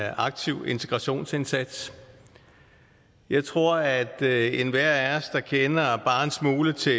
aktiv integrationsindsats jeg tror at enhver af os der kender bare en smule til